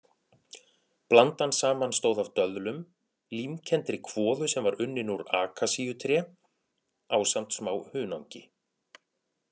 Blandan samanstóð af döðlum, límkenndri kvoðu sem var unnin úr akasíutré ásamt smá hunangi.